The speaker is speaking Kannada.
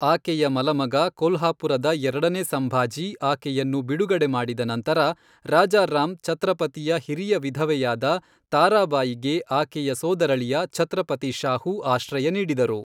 ಆಕೆಯ ಮಲಮಗ ಕೊಲ್ಹಾಪುರದ ಎರಡನೇ ಸಂಭಾಜಿ ಆಕೆಯನ್ನು ಬಿಡುಗಡೆ ಮಾಡಿದ ನಂತರ, ರಾಜಾರಾಮ್ ಛತ್ರಪತಿಯ ಹಿರಿಯ ವಿಧವೆಯಾದ ತಾರಾಬಾಯಿಗೆ ಆಕೆಯ ಸೋದರಳಿಯ ಛತ್ರಪತಿ ಶಾಹು ಆಶ್ರಯ ನೀಡಿದರು.